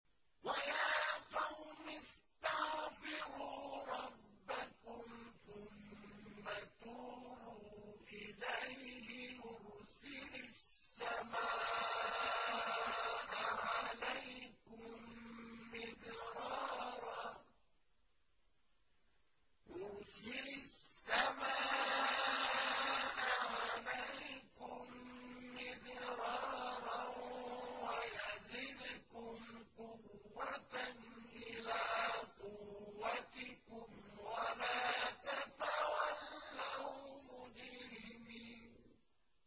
وَيَا قَوْمِ اسْتَغْفِرُوا رَبَّكُمْ ثُمَّ تُوبُوا إِلَيْهِ يُرْسِلِ السَّمَاءَ عَلَيْكُم مِّدْرَارًا وَيَزِدْكُمْ قُوَّةً إِلَىٰ قُوَّتِكُمْ وَلَا تَتَوَلَّوْا مُجْرِمِينَ